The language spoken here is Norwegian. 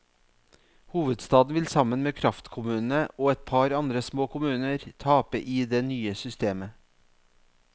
Hovedstaden vil sammen med kraftkommunene og et par andre små kommuner tape i det nye systemet.